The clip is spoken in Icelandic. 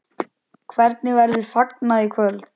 Hvernig verður fagnað í kvöld?